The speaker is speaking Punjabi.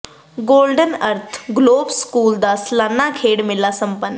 ਗੋਲਡਨ ਅਰਥ ਗਲੋਬਲ ਸਕੂਲ ਦਾ ਸਲਾਨਾ ਖੇਡ ਮੇਲਾ ਸੰਪੰਨ